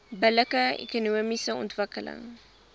billike ekonomiese ontwikkeling